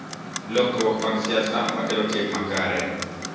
Lokruok mag siasa ma kelo tim makare,